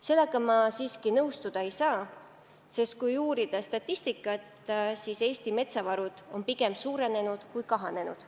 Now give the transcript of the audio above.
Sellega ma siiski nõustuda ei saa, sest kui uurida statistikat, siis Eesti metsavarud on pigem suurenenud, kui kahanenud.